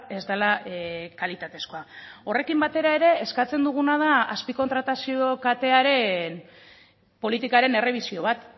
ez dela kalitatezkoa horrekin batera ere eskatzen duguna da azpikontratazio katearen politikaren errebisio bat